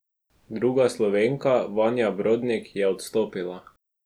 Druga Slovenka, Vanja Brodnik, je odstopila.